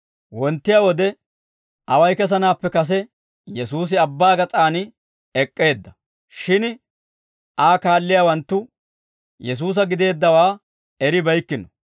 Wonttiyaa wode away kessanaappe kase, Yesuusi abbaa gas'aan ek'k'eedda; shin Aa kaalliyaawanttu Yesuusa gideeddawaa eribeykkino.